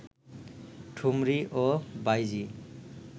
ঠুমরী ও বাঈজী